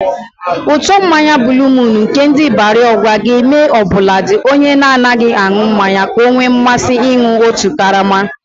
Ụtọ mmanya buuluu muun nke ndị Ibarị Ọgwa ga-eme ọbụladị onye na-anaghị aṅụ mmanya ka o nwee mmasị ịnụ otu karama.